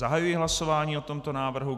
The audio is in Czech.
Zahajuji hlasování o tomto návrhu.